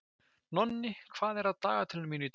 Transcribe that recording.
Nonni, hvað er á dagatalinu mínu í dag?